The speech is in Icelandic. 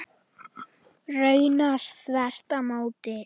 Raunar þvert á móti.